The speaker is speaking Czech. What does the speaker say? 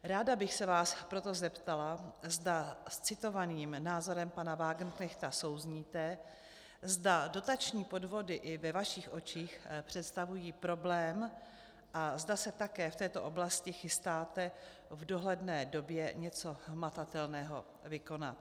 Ráda bych se vás proto zeptala, zda s citovaným názorem pana Wagenknechta souzníte, zda dotační podvody i ve vašich očích představují problém a zda se také v této oblasti chystáte v dohledné době něco hmatatelného vykonat.